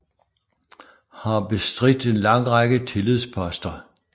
Har bestridt en lang række tillidsposter